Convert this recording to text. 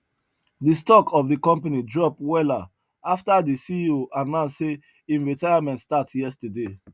the stock of the company drop wella after the ceo announce say him retirement start yesterday